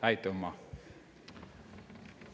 Aitümma!